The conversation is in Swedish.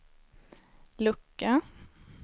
lucka